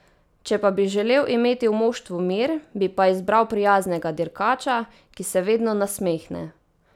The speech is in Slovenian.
Če pa bi želel imeti v moštvu mir, bi pa izbral prijaznega dirkača, ki se vedno nasmehne.